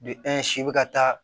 si bɛ ka taa